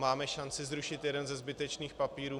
Máme šanci zrušit jeden ze zbytečných papírů.